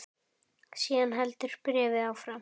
Síðan heldur bréfið áfram